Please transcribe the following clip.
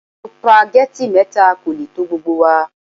Supageti mẹ́ta kò lè tó gbogbo wa.